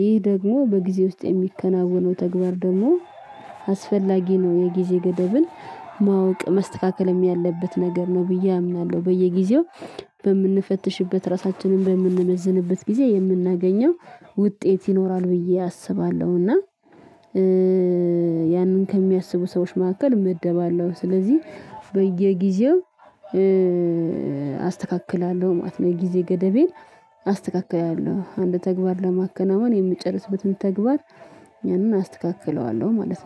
ይህ ደግሞ በጊዜ ውስጥ የሚከናወነው ተግባር ደግሞ አስፈላጊ ነው። የጊዜ ገደብን ማወቅ ማስተካከልም ያለበት ነገር ነው ብዬ አምናለሁ። በየጊዜው በምንፈትሽበት ራሳችንን በምንመዝንበት ጊዜ የምናገኘው ውጤት ይኖራል ብዬ አስባለሁ። እና ያንን ከሚያስቡ ሰዎች መካከል እመደባለሁ። ስለዚህ በየጊዜው አስተካክላለሁ ማለት የጊዜ ገደቤን አስተካክላለሁ። አንድ ተግባር ለማከናወን የምጨርስበትን ተግባር ያንን አስተካክለዋለሁ ማለት ነው